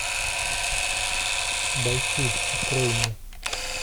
бойцы открой мне